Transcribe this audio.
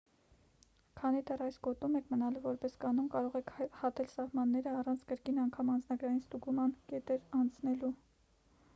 քանի դեռ այս գոտում եք մնալու որպես կանոն կարող եք հատել սահմանները առանց կրկին անգամ անձնագրային ստուգման կետերն անցնելու